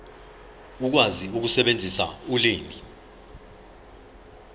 ukwazi ukusebenzisa ulimi